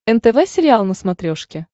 нтв сериал на смотрешке